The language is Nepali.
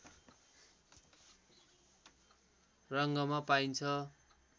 रङमा पाइन्छ